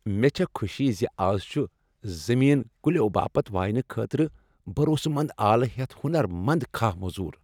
مےٚ چھےٚ خوشی زِ از چُھ زمین كُلیو باپت واینہٕ خٲطرٕ بھروسہٕ منٛد آلہٕ ہیٚتھ ہونر مند کھاہ موٚزوٗر۔